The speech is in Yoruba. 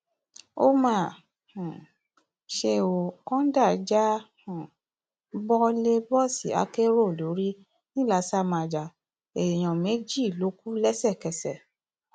ó mà um ṣe ó kọńdà já um bọ lè bọọsì akérò lórí ńìlasàmájà èèyàn méjì ló kù lẹsẹkẹsẹ